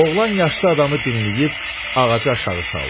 Oğlan yaşlı adamı dinləyib ağacı aşağı saldı.